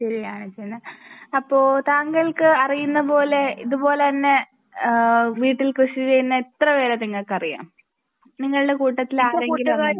തിരിയുകയാണ് ചെയ്യുന്നെ അപ്പോൾ താങ്കൾക്ക് അറിയുന്ന പോലെ ഇതുപോലെ തന്നെ ആ വീട്ടിൽ കൃഷി ചെയ്യുന്ന എത്ര പേരെ നിങ്ങൾക്ക് അറിയാം. നിങ്ങളുടെ കൂട്ടത്തിൽ ആരെങ്കിലും അങ്ങനെ ഉണ്ടോ ?